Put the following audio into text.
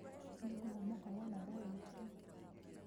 Nĩngũhũmũka wona ndarĩkia